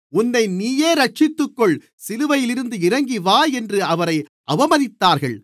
உன்னை நீயே இரட்சித்துக்கொள் சிலுவையிலிருந்து இறங்கிவா என்று அவரை அவமதித்தார்கள்